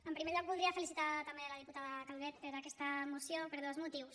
en primer lloc voldria felici·tar també la diputada calvet per aquesta moció per dos motius